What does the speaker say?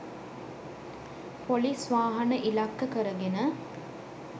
Police වාහන ඉලක්ක කර ගෙන.